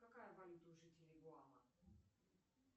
какая валюта у жителей гуама